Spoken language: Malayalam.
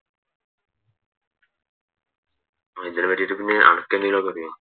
മതിയോ